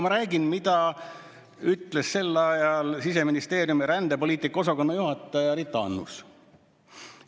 Ma räägin, mida ütles sel ajal Siseministeeriumi rändepoliitika osakonna juhataja Annus.